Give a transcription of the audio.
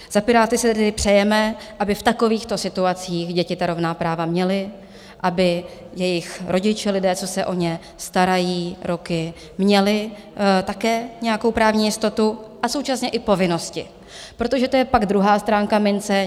Za Piráty si tedy přejeme, aby v takovýchto situacích děti ta rovná práva měly, aby jejich rodiče, lidé, co se o ně starají roky, měli také nějakou právní jistotu, a současně i povinnosti, protože to je pak druhá stránka mince.